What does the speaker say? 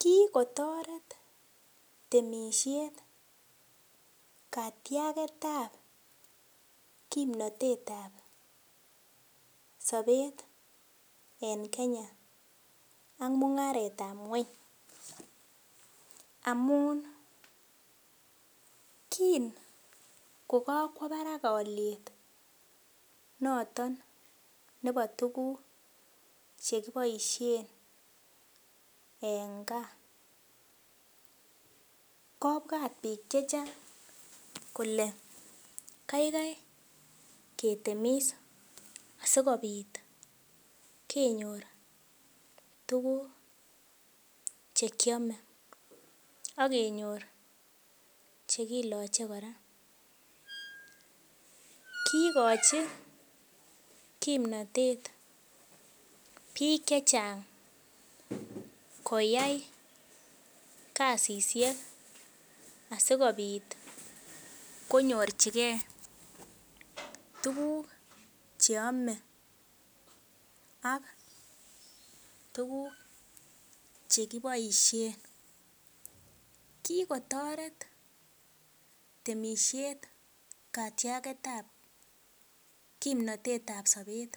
Kikotoret temisiet katiagetab kimnotetab sobet en Kenya ak mungaretab ngweny, amun kin ko kakwo barak alyet noton nebo tuguk chekiboisien en kaa kobwat biik chechang kole kaikai ketemis sigopit kenyor tuguk chekiame ak kenyor chekiloche kora. Kigochi kimnatet biik che chang koyai kasisiek asigopit konyorchige tuguk che ame ak tuguk che kiboisien. Kigotaret temisiet katiagetab kimnotet ab sobet